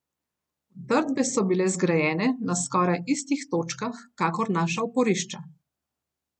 Utrdbe so bile zgrajene na skoraj istih točkah kakor naša oporišča.